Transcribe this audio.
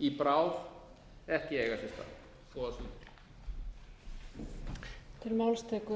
í bráð ekki eiga sér stað góðar stundir